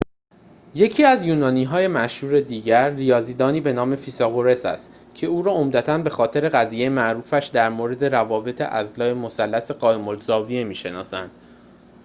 یکی از یونانی‌های مشهور دیگر ریاضی‌دانی به نام فیثاغورس است که او را عمدتاً به‌خاطر قضیه معروفش در مورد روابط اضلاع مثلث قائم‌الزاویه می‌شناسند